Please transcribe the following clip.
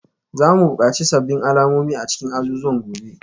Za mu buƙaci sabbin alamomi a cikin azuzuwan gobe